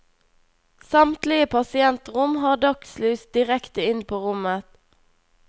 Samtlige pasientrom har dagslys direkte inn på rommet.